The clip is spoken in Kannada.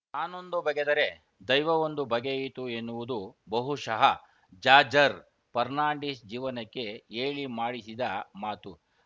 ತಾನೊಂದು ಬಗೆದರೆ ದೈವವೊಂದು ಬಗೆಯಿತು ಎನ್ನುವುದು ಬಹುಷಃ ಜಾರ್ಜರ್ ಫರ್ನಾಂಡಿಸ್‌ ಜೀವನಕ್ಕೆ ಹೇಳಿ ಮಾಡಿಸಿದ ಮಾತು